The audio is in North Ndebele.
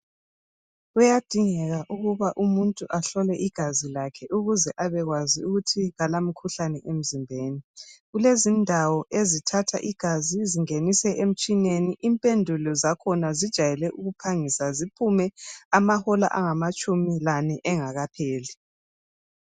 Kuyadingeka ukuba umuntu ahlolwe igazi lakhe ukuze abekwazi ukuthi akalamkhuhlane emzimbeni kulezindawo ezithatha igazi zingenise emtshineni impendulo zakhona zijwayele ukuphangisa ziphume amahola angamatshumi lane engakapheli.